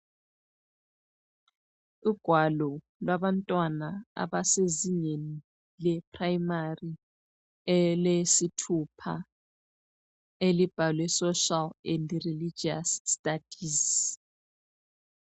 Ugwalo lwabantwana abasezingeni le primary elesithupha elibhalwe ,social and religious studies